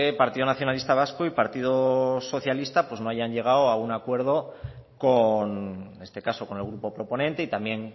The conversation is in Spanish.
partido nacionalista vasco y partido socialista no hayan llegado a un acuerdo con en este caso con el grupo proponente y también